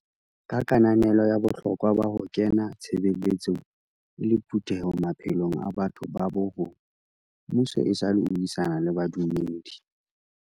Ka kananelo ya bohlokwa ba ho kena tshebeletsong e le phutheho maphelong a batho ba bo rona, mmuso esale o buisana le badumedi.